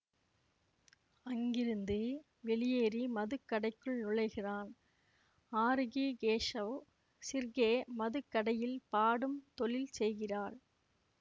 அங்கிருந்து வெளியேறி மதுக்கடைக்குள் நுழைகிறான் ஆரூகி கேஷவ் ஷிர்கே மதுக்கடையில் பாடும் தொழில் செய்கிறாள்